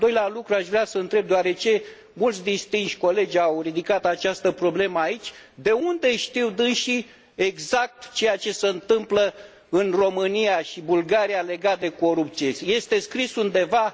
Al doilea lucru aș vrea să o întreb, deoarece mulți distinși colegi au ridicat această problemă aici, de unde știu dânșii exact ceea ce se întâmplă în România și Bulgaria legat de corupție? Este scris undeva?